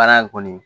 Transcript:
Baara in kɔni